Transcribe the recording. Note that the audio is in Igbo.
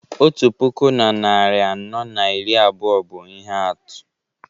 otu puku na narị anọ na iri abụọ bụ ihe atụ